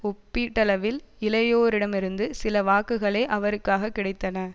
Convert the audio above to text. ஒப்பீட்டளவில் இளையோரிடமிருந்து சில வாக்குகளே அவருக்காக கிடைத்தன